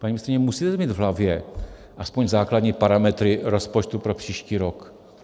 Paní ministryně, musíte mít v hlavě aspoň základní parametry rozpočtu pro příští rok.